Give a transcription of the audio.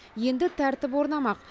енді тәртіп орнамақ